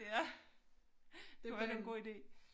Ja det vel en god idé